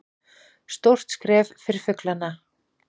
Stórt skref fyrir fuglana